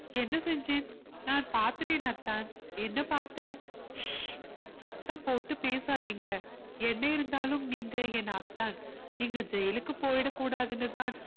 என்ன செஞ்சேன் நான் பார்த்துட்டேன் அத்தான் என்ன பார்த்த சத்தம் போட்டு பேசாதீங்க என்ன இருந்தாலும் நீங்க என் அத்தான் நீங்க ஜெயிலுக்கு போயிடக் கூடாதுன்னு தான்